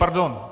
Pardon.